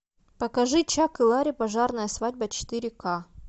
покажи чак и ларри пожарная свадьба четыре ка